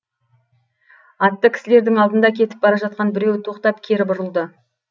атты кісілердің алдында кетіп бара жатқан біреуі тоқтап кері бұрылды